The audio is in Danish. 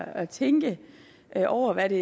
at tænke over hvad det